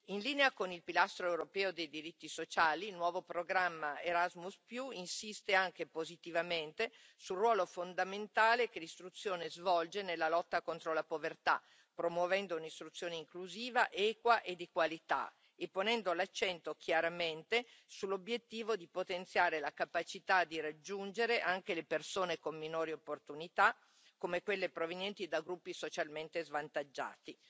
In linea con il pilastro europeo dei diritti sociali, il nuovo programma Erasmus insiste anche positivamente sul ruolo fondamentale che l'istruzione svolge nella lotta contro la povertà, promuovendo un'istruzione inclusiva, equa e di qualità e ponendo l'accento chiaramente sull'obiettivo di potenziare la capacità di raggiungere anche le persone con minori opportunità, come quelle provenienti da gruppi socialmente svantaggiati.